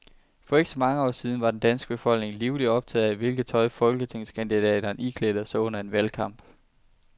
For ikke så mange år siden var den danske befolkning livligt optaget af, hvilket tøj folketingskandidaterne iklædte sig under en valgkamp.